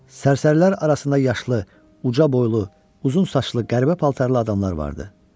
Sərsərilər arasında yaşlı, uca boylu, uzun saçlı, qəribə paltarlı adamlar vardı.